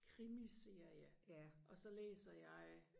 krimiserie og så læser jeg